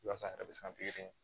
Walasa a yɛrɛ bɛ se ka pikiri